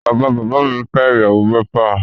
Bàbá bàbá mi fẹ́ ìyàwó mẹ́fà